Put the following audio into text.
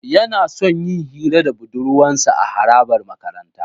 Yana son yin hira da budurwarsa a harabar makaranta.